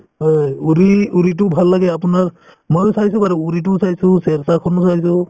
হয় uri uri তোও ভাল লাগে আপোনাৰ ময়ো চাইছো বাৰু uri তোও চাইছো shershaah খনো চাইছো